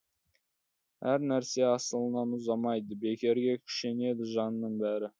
әр нәрсе асылынан ұзамайды бекерге күшенеді жанның бәрі